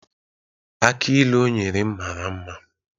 Akị ilu o nyere m mara mma